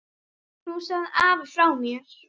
Knúsaðu afa frá mér.